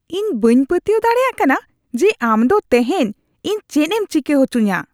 ᱤᱧ ᱵᱟᱹᱧ ᱯᱟᱹᱛᱭᱟᱹᱣ ᱫᱟᱲᱮᱭᱟᱜ ᱠᱟᱱᱟ ᱡᱮ ᱟᱢ ᱫᱚ ᱛᱮᱦᱮᱧ ᱤᱧ ᱪᱮᱫ ᱮᱢ ᱪᱤᱠᱟᱹ ᱦᱚᱪᱚᱧᱟ ᱾